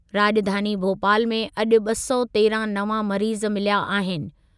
राॼधानी भोपाल में अॼु ॿ सौ तेरहं नवां मरीजु मिलिया आहिनि।